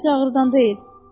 Heç ağırdan deyil.